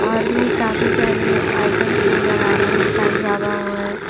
और भी काफी सारे आइटम्स नजर आ रहे है साईं बाबा हुए --